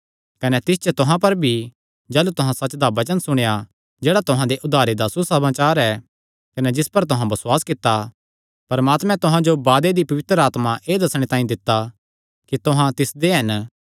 कने तिस च तुहां पर भी जाह़लू तुहां सच्च दा वचन सुणेया जेह्ड़ा तुहां दे उद्धारे दा सुसमाचार ऐ कने जिस पर तुहां बसुआस कित्ता परमात्मे तुहां जो वादे दी पवित्र आत्मा एह़ दस्सणे तांई दित्ता कि तुहां तिसदे हन